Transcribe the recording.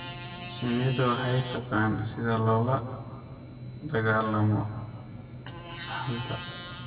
Shinnidu waxay taqaan sida loola dagaallamo dhaxanta.